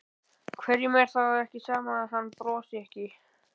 Hverjum er þá ekki sama að hann brosi ekki?